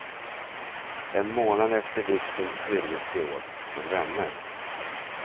En månad efter vigseln skiljdes de åt, som vänner.